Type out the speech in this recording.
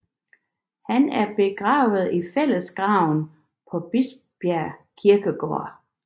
Han er begravet i fællesgraven på Bispebjerg Kirkegård